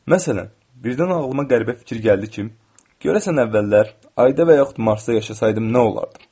Məsələn, birdən ağlıma qəribə fikir gəldi ki, görəsən əvvəllər ayda və yaxud Marsda yaşasaydım nə olardı?